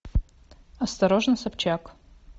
осторожно собчак